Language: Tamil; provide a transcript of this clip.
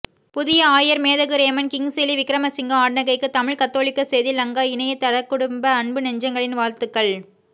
புதிய ஆயர் மேதகு றேமன் கிங்சிலி விக்கிரமசிங்க ஆண்டகைக்கு தமிழ் கத்தோலிக்க செய்தி லங்கா இணையத்தளக்குடும்ப அன்பு நெஞ்சங்களின் வாழ்த்துக்கள்